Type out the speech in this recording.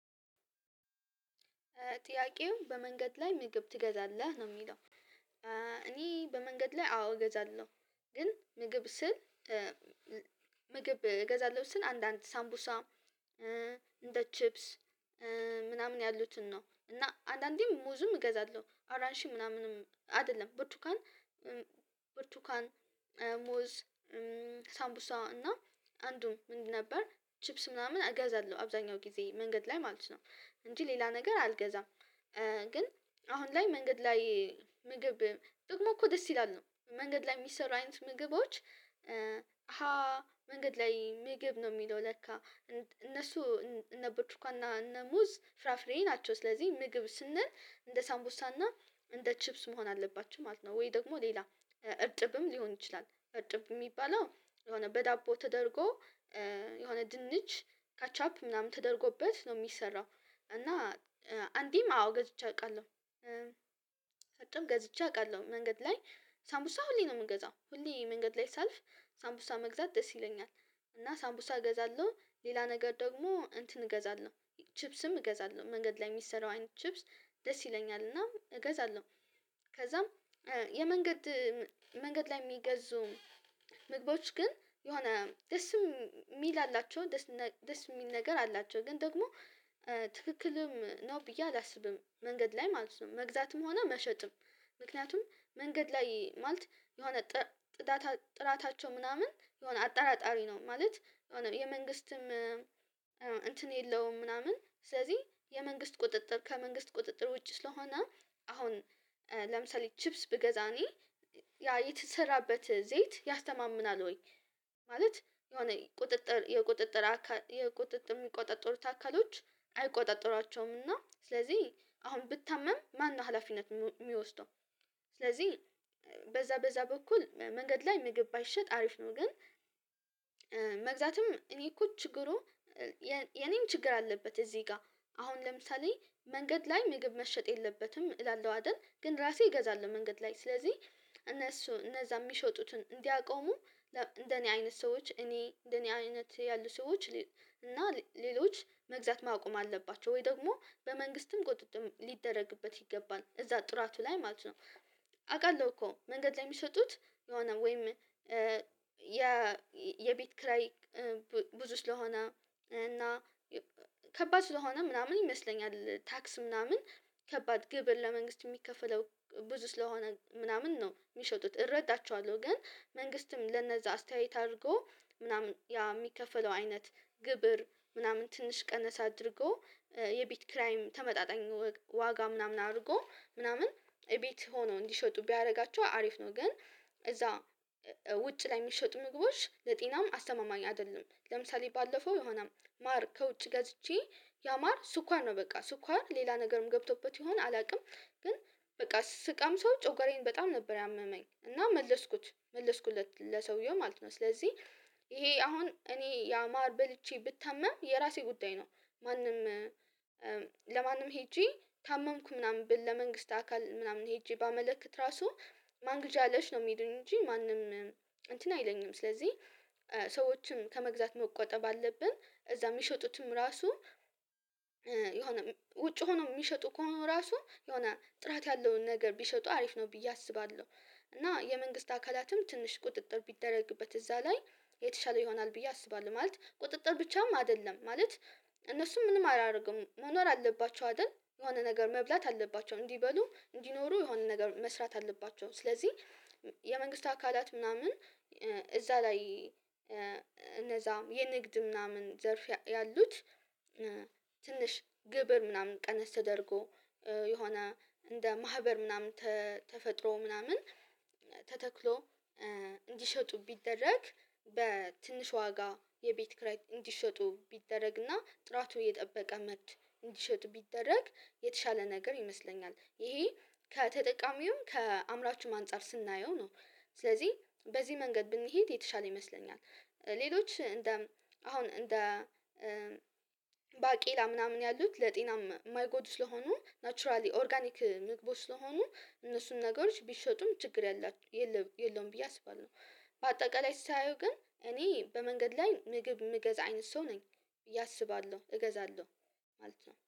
ጥያቄው በመንገድ ላይ ምግብ ትገዛለህ ነው የሚለው? እኔ በመንገድ ላይ አዎ እገዛለሁ። ግን ምግብ ስል ምግብ እገዛለሁ ስል አንዳንድ ሳምቡሳ እንደ ቺፕስ ምናምን ያሉትን ነው። እና አንዳንዴም ሙዝም እገዛለሁ አራሺን ምናምንም አይደለም ብርቱካን ብርቱካን ሙዝ ሳምቡሳ እና አንዱ ምን ነበር ቺፕስ ምናምን እገዛለሁ አብዛኛው ጊዜ መንገድ ላይ ማለት ነው። እንጂ ሌላ ነገር አልገዛም። ግን አሁን ላይ መንገድ ላይ ምግብ ጥቅሙ እኮ ደስ ይላል ነው መንገድ ላይ የሚሰሩ አይነት ምግቦች። አሃ መንገድ ላይ ንግብ ነው የሚለው ለካ። እነሱ እነ ብርትኳንና እነ ሙዝ ፍራፍሬ ናቸው። ስለዚህ ምግብ ስንል እንደ ሳምቡሳና እንደ ቺፕስ መሆን አለባቸው ማለት ነው። ወይ ደግሞ ሌላ እርጥብም ሊሆን ይችላል እርጥብ የሚባለው የሆነ በዳቦ ተደርጎ የሆነ ድንች ካችአፕ ምናምን ተደርጎበት ነው የሚሰራው። እና አንዴም አዎ ገዝቼ አውቃለሁ። እርጥብ ገዝቼ አውቃለሁ መንገድ ላይ ሳምቡሳ ሁሌ ነው የምንገዛው ሁሌ መንገድ ላይ ሳልፍ ሳምቡሳ መግዛት ደስ ይለኛል እና ሳምቡሳ እገዛለሁ ሌላ ነገር ደግሞ እንትን እገዛለሁ። ቺፕስም እገዛለሁ መንገድ ላይ የሚሰራው አይነት ቺፕስ ደስ ይለኛልና እገዛለሁ። ከዛም የመንገድ መንገድ ላይ የሚገዙ ምግቦች ግን የሆነ ደስ የሚል አላቸው ደስ የሚል ነገር አላቸው ግን ደግሞ ትክክልም ነው ብዬ አላስብም። መንገድ ላይ ማለት ነው መግዛትም ሆነ መሸጥም ምክንያቱም መንገድ ላይ ማለት የሆነ ጥራታቸው ምናምን የሆነ አጠራጣሪ ነው። ማለት የሆነ የመንግስትም የለውም። ምናምን ስለዚህ የመንግስት ቁጥጥር ከመንግስት ቁጥጥር ውጭ ስለሆነ አሁን ለምሳሌ ቺፕስ ብገዛ እኔ ያ የተሰራበት ዘይት ያስተማምናል። ወይ? የሆነ ቁጥጥር የቁጥጥር የቁጥጥር የሚቆጣጠሩት አከጠካሎች አይቆጣጥሯቸውምና ስለዚህ አሁን ብታመም ማነው ሀላፊነት የሚወስደው? ስለዚህ በዛ በዛ በኩል መንገድ ላይ ምግብ ባይሸጥ አሪፍ ነው። ግን መግዛትም እኔ እኮ ችግሩ የኔም ችግር አለበት። እዚህ ጋር አሁን ለምሳሌ መንገድ ላይ ምግብ መሸጥ የለበትም እላለሁ አይደል? ግን ራሴ እገዛለሁ መንገድ ላይ ስለዚህ እነሱ እነዛ የሚሸጡትን እንዲያቆሙ እንደኔ አይነት ሰዎች እኔ እንደኔ አይነት ያሉ ሰዎች እና ሌሎች መግዛት ማቆም አለባቸው ወይ ደግሞ በመንግስትም ቁጥጥም ሊደረግበት ይገባል እዛ ጥራቱ ላይ ማለት ነው። አውቃለሁ እኮ መንገድ ላይ የሚሰጡት የሆነ ወይም የቤት ክራይ ብዙ ስለሆነ እና ከባድ ስለሆነ ምናምን ይመስለኛል ታክስ ምናምን ከባድ ግብር ለመንግስት የሚከፈለው ብዙ ስለሆነ ምናምን ነው። የሚሸጡት እረዳቸዋለሁ ግን መንግስትም ለነዛ አስተያየት አድርጎ ምናምን ያ የሚከፈለው አይነት ግብር ምናምን ትንሽ ቀነስ አድርጎ የቤት ክራይም ተመጣጣኝ ዋጋ ምናምን አድርጎ ምናምን ቤት ሆነው እንዲሸጡ ቢያደርጋቸው አሪፍ ነው። ግን እዛ ውጭ ላይ የሚሸጡ ምግቦች ለጤናም አስተማማኝ አይደለም። ለምሳሌ ባለፈው የሆነ ማር ከውጭ ገዝቼ ያማር ስኳር ነው በቃ ስኳር ሌላ ነገርም ገብቶበት የሆነ አላውቅም። ግን በቃ ስቀምሰው ጮጋረዬን በጣም ነበር ያመመኝ እና መለስኩት መለስኩለት ለሰውየው ማለት ነው። ስለዚህ ይሄ አሁን እኔ ያማር በልቼ ብታመም የራሴ ጉዳይ ነው። ማንም ለማንም ሄጄ ታመምኩ ምናምን ለመንግስት አካል ምናምን ሄጄ ባመለከት ራሱ ማን ግዢ አለሽ ነው? የሚሉኝ እንጂ ማንም እንትን አይለኝም። ስለዚህ ሰዎችም ከመግዛት መቆጠብ አለብን። እዛ የሚሸጡትም ራሱ የሆነ ውጭ ሆኖ የሚሸጡ ከሆኑ ራሱ የሆነ ጥራት ያለውን ነገር ቢሸጡ አሪፍ ነው። ብዬ አስባለሁ እና የመንግስት አካላትም ትንሽ ቁጥጥር ቢደረግበት እዛ ላይ የተሻለ ይሆናል ብዬ አስባለሁ። ማለት ቁጥጥር ብቻም አይደለም ማለት እነሱም ምንም አላደርግም መኖር አለባቸው። አይደል የሆነ ነገር መብላት አለባቸው። እንዲበሉ እንዲኖሩ የሆነ ነገር መስራት አለባቸው። ስለዚህ የመንግስት አካላት ምናምን እዛ ላይ እነዛ የንግድ ምናምን ዘርፍ ያሉት ትንሽ ግብር ምናምን ቀነስ ተደርጎ የሆነ እንደ ማህበር ምናምን ተፈጥሮ ምናምን ተተክሎ እንዲሸጡ ቢደረግ በትንሽ ዋጋ የቤት ክራይ እንዲሸጡ ቢደረግና ጥራቱ የጠበቀ መድ እንዲሸጡ ቢደረግ የተሻለ ነገር ይመስለኛል። ይሄ ከተጠቃሚው ከአምራቹም አንፃር ስናየው ነው። ስለዚህ በዚህ መንገድ ብንሄድ የተሻለ ይመስለኛል። ሌሎች እንደ አሁን እንደ ባቄላ ምናምን ያሉት ለጤናም የማይጎዱ ስለሆኑ ናቹራሊ ኦርጋኒክ ምግቦች ስለሆኑ እነሱን ነገሮች ቢሸጡም ችግር የለብ የለውም ብዬ አስባለሁ። በአጠቃላይ ሳየው ግን እኔ በመንገድ ላይ ምግብ ምገዛ አይነት ሰው ነኝ ብየ አስባለሁ እገዛለሁ። ማለት ነው